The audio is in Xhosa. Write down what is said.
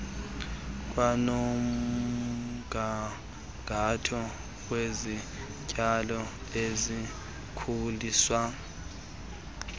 kwanomgangatho wezityalo ezikhuliswa